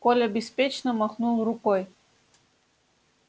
коля беспечно махнул рукой